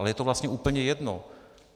Ale je to vlastně úplně jedno.